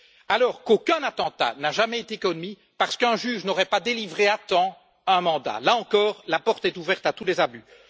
Alors qu'aucun attentat n'a jamais été commis parce qu'un juge n'aurait pas délivré à temps un mandat, là encore, la porte est ouverte à tous les abus.